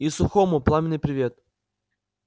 и сухому пламенный привет